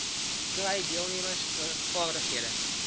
kry deelnemers vaardighede